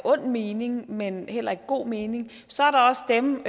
ond mening men heller i god mening så er der også dem